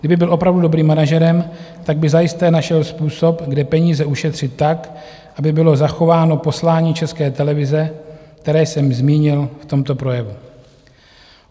Kdyby byl opravdu dobrým manažerem, tak by zajisté našel způsob, kde peníze ušetřit tak, aby bylo zachováno poslání České televize, které jsem zmínil v tomto projevu.